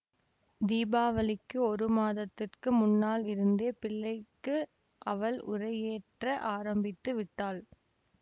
தீபாவளிக்கு ஒரு மாதத்துக்கு முன்னாலிருந்தே பிள்ளைக்கு அவள் உரையேற்ற ஆரம்பித்து விட்டாள்